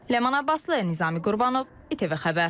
Ləman Abbaslı, Nizami Qurbanov, ITV Xəbər.